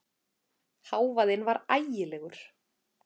Hávaðinn var ægilegur.